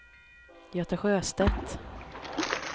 Göte Sjöstedt